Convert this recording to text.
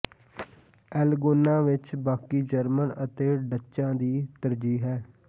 L Gouna ਵਿਚ ਬਾਕੀ German ਅਤੇ ਡੱਚਾਂ ਦੀ ਤਰਜੀਹ ਹੈ